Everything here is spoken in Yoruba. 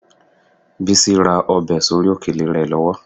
Bísí ra ọbẹ̀ sórí òkèlè rẹ lọ́wọ́